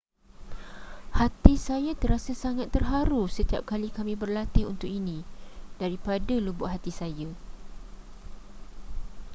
hati saya terasa sangat terharu setiap kali kami berlatih untuk ini daripada lubuk hati saya